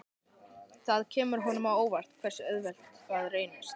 Það kemur honum á óvart hversu auðvelt það reynist.